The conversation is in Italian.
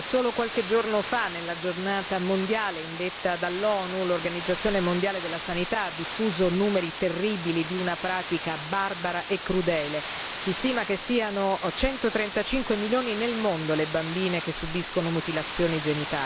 solo qualche giorno fa, nella giornata mondiale indetta dall'ONU, l'Organizzazione mondiale della sanità ha diffuso numeri terribili di una pratica barbara e crudele. Si stima che siano 135 milioni nel mondo le bambine che subiscono mutilazioni genitali.